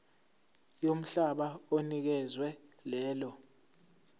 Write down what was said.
yomhlaba onikezwe lelo